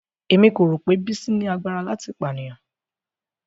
Emi ko ro pe Bisi ni lagbara lati paniyan.